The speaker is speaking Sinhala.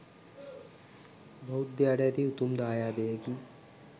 බෞද්ධයාට ඇති උතුම් දායාදයකි